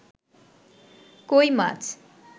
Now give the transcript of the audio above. কৈ মাছ